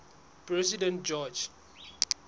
president george